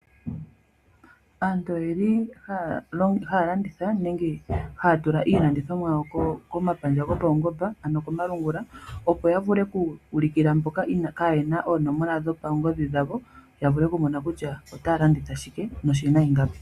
Aantu oyendji haya landitha nenge haya tula iilandithomwa yayo komapandja gopaungomba ano komalungula opo yavule okuulikila mboka kaayena oonomola dhawo kutya otaya landitha shike noshina ingapi.